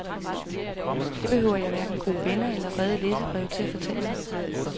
Det behøver jeg hverken gode venner eller vrede læserbreve til at fortælle mig.